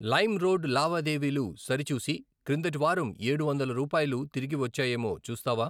Lime road లావాదేవీలు సరిచూసి క్రిందటి వారం ఏడు వందల రూపాయలు తిరిగి వచ్చాయేమో చూస్తావా?